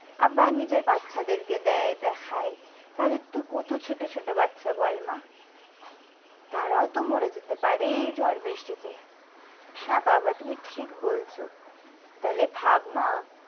আবার নিজের বাচ্চাদের কে দেয় যা খায় তাদের তো কত ছোটো ছোটো বাচ্চা বল মা তারাও তো মরে যেতে পারে এই ঝড় বৃষ্টিতে হ্যাঁ বাবা তুমি ঠিক বলছো তাহলে ভাব মা।